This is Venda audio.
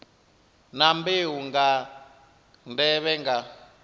na mbeu nga nḓevhe nga